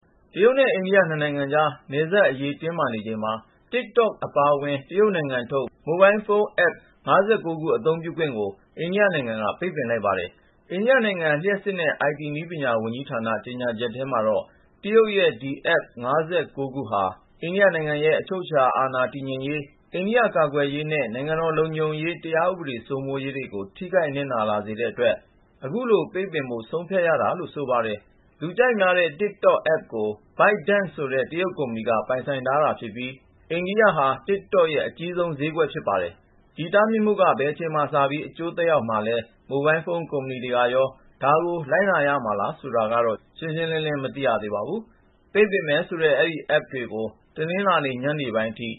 တရုတ်နဲ့ အိန္ဒိယ နှစ်နိုင်ကြား နယ်စပ်အရေးတင်းမာနေချိန်မှာ TikTok အပါဝင် တရုတ်နိုင်ငံထုတ် မိုဘိုင်းဖုန်း Apps ၅၉ ခု အသုံးပြုခွင့်ကို အိန္ဒိယနိုင်ငံက ပိတ်ပင်လိုက်ပါတယ်။ အိန္ဒိယနိုင်ငံ လျှပ်စစ်နဲ့ IT နည်းပညာ ဝန်ကြီးဌာန ကြေညာချက်ထဲမှာတော့ တရုတ်ရဲ့ ဒီ Apps ၅၉ ခုဟာ အိန္ဒိယနိုင်ငံရဲ့ အချုပ်အခြာအာဏာ တည်ငြိမ်ရေး ၊ အိန္ဒိယ ကာကွယ်ရေးနဲ့ နိုင်ငံတော် လုံခြုံရေး တရားဥပဒေ စိုးမိုးရေးတွေကို ထိခိုက်နစ်နာ လာစေတဲ့အတွက် အခုလို ပိတ်ပင်ဖို့ ဆုံးဖြတ်ရတာလို့ ဆိုပါတယ်။ လူကြိုက်များတဲ့ TikTok Apps ကို ByteDance ဆိုတဲ့ တရုတ်ကုမ္ပဏီက ပိုင်ဆိုင်တာဖြစ်ပြီး အိန္ဒိယဟာ TikTok ရဲ့အကြီးဆုံး ဈေးကွက် ဖြစ်ပါတယ်။ ဒီတားမြစ်မှုက ဘယ်အချိန်မှာ စပြီး အကျိုးသက်ရောက်မလဲ ၊ မိုဘိုင်းဖုန်း ကုမ္ပဏီတွေကရော ဒါကို လိုက်နာရမလား ဆိုတာကတော့ ရှင်းရှင်းလင်းလင်း မသိရသေးပါဘူး ။ ပိတ်ပင်မယ်ဆိုတဲ့ အဲဒီ Apps တွေကို တနင်္လာ ညနေပိုင်းအထိ